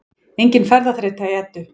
Engin ferðaþreyta í Eddu